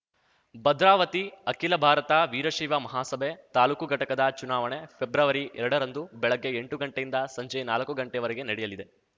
ಭದ್ರಾವತಿ ಅಖಿಲ ಭಾರತ ವೀರಶೈವ ಮಹಾಸಭೆ ತಾಲೂಕು ಘಟಕದ ಚುನಾವಣೆ ಫೆಬ್ರವರಿಎರಡರಂದು ಬೆಳಗ್ಗೆ ಎಂಟು ಗಂಟೆಯಿಂದ ಸಂಜೆ ನಾಲಕ್ಕು ಗಂಟೆವರೆಗೆ ನಡೆಯಲಿದೆ